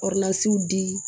di